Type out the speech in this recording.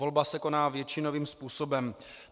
Volba se koná většinovým způsobem.